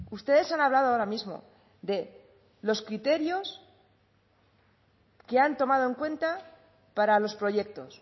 ustedes han hablado ahora mismo de los criterios que han tomado en cuenta para los proyectos